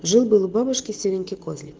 жил-был у бабушки серенький козлик